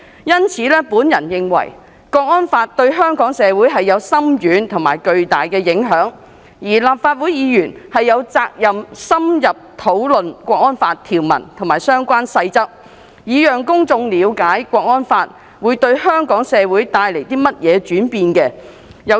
因此，我認為《港區國安法》對香港社會有深遠而巨大的影響，而立法會議員亦有責任深入討論《港區國安法》的條文及相關細則，讓公眾了解《港區國安法》對香港社會將帶來的轉變。